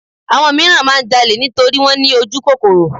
Àwọn míràn máà ń jalè nítorí wọ́n ní ojúkòkòrò.